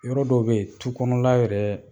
Yɔrɔ dɔw bɛ ye tu kɔnɔla yɛrɛ